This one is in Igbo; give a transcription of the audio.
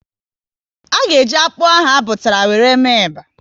A ga eji akpụ ahụ a butara wéré mee eba